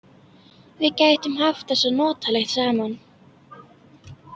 Við gætum haft það svo notalegt saman.